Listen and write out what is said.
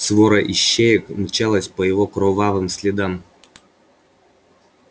свора ищеек мчалась по его кровавым следам